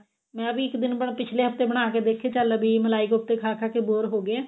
ਮੈ ਇੱਕ ਦਿਨ ਪਿੱਛਲੇ ਹਫਤੇ ਬਣਾ ਕੇ ਦੇਖੇ ਚਲ ਵੀ ਮਲਾਈ ਕੋਫਤੇ ਖਾ ਖਾ ਕੇ bore ਹੋਗੇ ਆਂ